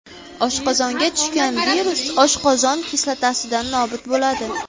Oshqozonga tushgan virus oshqozon kislotasida nobud bo‘ladi.